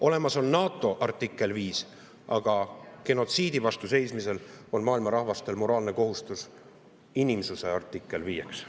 Olemas on NATO artikkel 5, aga genotsiidi vastu seismisel on maailma rahvastel moraalne kohustus inimsuse artikliks 5.